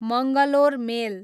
Mangalore मेल